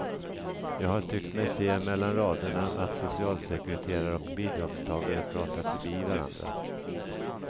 Jag har tyckt mig se mellan raderna att socialsekreterare och bidragstagare pratat förbi varandra.